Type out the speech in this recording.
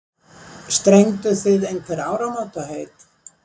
Strengduð þið einhver áramótaheit?